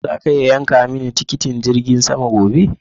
Zaka iya yanka mini tikitin jirgin sama gobe?